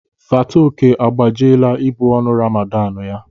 Fatoke agbajila ibu ọnụ Ramadan ya.